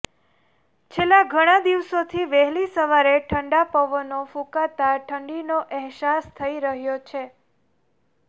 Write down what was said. છેલ્લા ઘણા દિવસોથી વહેલી સવારે ઠંડા પવનો ફૂંકાતા ઠંડીનો અહેસાસ થઈ રહ્યો છે